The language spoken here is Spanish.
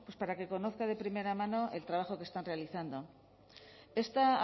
para que conozca de primera mano el trabajo que están realizando esta